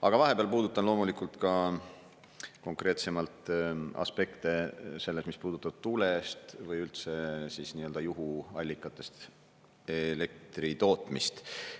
Aga vahepeal puudutan loomulikult ka konkreetsemalt aspekte selles, mis puudutab tuule eest või üldse juhuallikatest elektri tootmist.